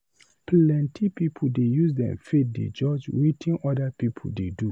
Plenty pipu dey use dem faith dey judge wetin other pipu dey do.